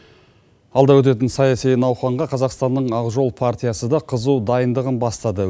алда өтетін саяси науқанға қазақстанның ақжол партиясы да қызу дайындығын бастады